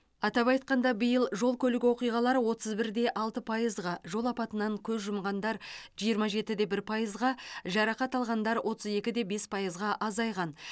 атап айтқанда биыл жол көлік оқиғалары отыз бір де алты пайызға жол апатынан көз жұмғандар жиырма жеті де бір пайызға жарақат алғандар отыз екі де бес пайызға азайған